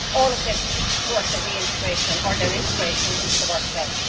all of this to support their reintegration, or integration, into the workplace.